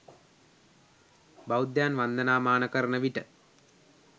බෞද්ධයන් වන්දනාමාන කරන විට